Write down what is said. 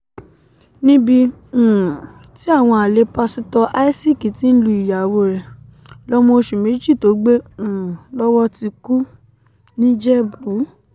níbi um tí àwọn alẹ́ pásítọ̀ isaac ti ń lu ìyàwó ẹ̀ lọmọ oṣù mẹ́jọ tó gbé um lọ́wọ́ ti ku nìjẹ̀bù